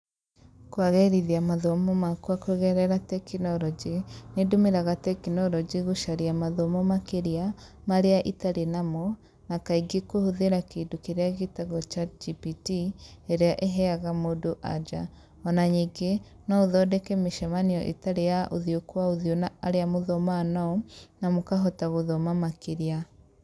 Kwagĩrithia mathomo makwa kũgerera tekinoronjĩ, nĩ ndũmĩraga tekinoronjĩ gũcaria mathomo makĩria, marĩa itarĩ namo, na kaingĩ kũhũthĩra kĩndũ kĩrĩa gĩtagwo ChatGPT, ĩrĩa ĩheaga mũndũ anja. Ona nyingĩ, no ũthondeke mĩcemanio ĩtarĩ ya ũthiũ kwa ũthiũ na arĩa mũthomaga nao, na mũkahota gũthoma makĩria.